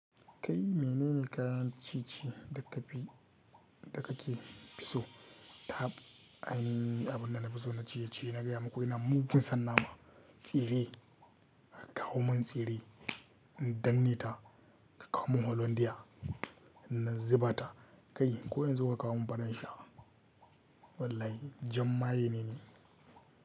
Kai mene ne kayan ci ci da kafi da kake fi so? Tap aini abun da na fi so na ciye-ciye, na gaya maku ina mugun sannanama. Tsire, ka kawo min tsire. Danne ta, ka kawo min holandiya. Nan ziba ta, kai ko yanzu ka kawo min fa zan sha. Wallahi jamma ye ne ni.